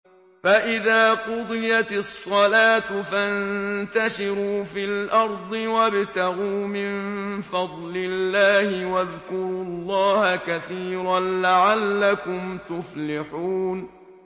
فَإِذَا قُضِيَتِ الصَّلَاةُ فَانتَشِرُوا فِي الْأَرْضِ وَابْتَغُوا مِن فَضْلِ اللَّهِ وَاذْكُرُوا اللَّهَ كَثِيرًا لَّعَلَّكُمْ تُفْلِحُونَ